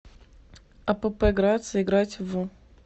апп грация играть в